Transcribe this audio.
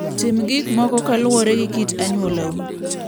Tim gik moko kaluwore gi kit anyuolau.